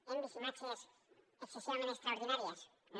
hem vist imatges excessivament extraordinàries no